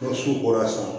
Ni so bɔra a sɔrɔ